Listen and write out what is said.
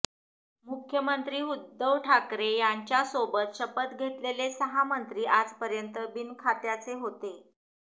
मुख्यमंत्री उद्धव ठाकरे यांच्या सोबत शपथ घेतलेले सहा मंत्री आजपर्यंत बिनखात्याचे होते